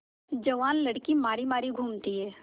जवान लड़की मारी मारी घूमती है